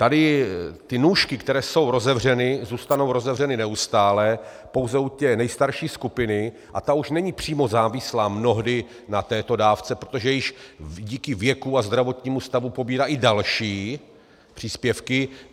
Tady ty nůžky, které jsou rozevřeny, zůstanou rozevřeny neustále pouze u té nejstarší skupiny a ta už není přímo závislá mnohdy na této dávce, protože již díky věku a zdravotnímu stavu pobírá i další příspěvky.